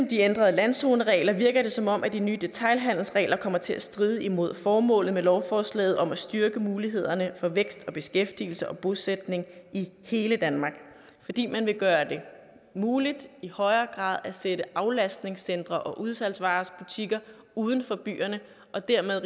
de ændrede landzoneregler virker det som om de nye detailhandelsregler kommer til at stride imod formålet med lovforslaget om at styrke mulighederne for vækst og beskæftigelse og bosætning i hele danmark fordi man vil gøre det muligt i højere grad at sætte aflastningscentre og udsalgsvarebutikker uden for byerne og dermed